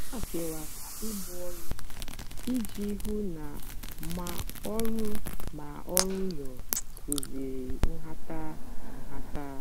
ha kewara ibu ọrụ iji hụ na ma ọrụ ma ọrụ ụlọ kwụziri nhata. nhata.